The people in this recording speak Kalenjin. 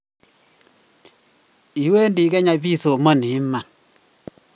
iwendi kenya pisomani iman